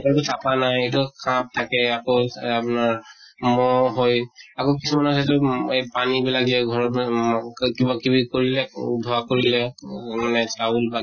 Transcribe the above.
কোনো চাফা নাই, এইটো সাপ থাকে। আকৌ আপনাৰ মহ হৈ আকৌ কিছুমানৰ চাইছো এহ পানী বিলাক যে ঘৰৰ কিবা কিবি কৰিলে, ধোৱা কৰিলে ত মানে চাউল বাকি